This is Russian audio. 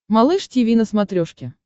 малыш тиви на смотрешке